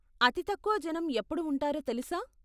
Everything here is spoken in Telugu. అతి తక్కువ జనం ఎప్పుడు ఉంటారో తెలుసా?